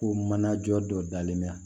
Ko mana jɔ dɔ dalen bɛ yan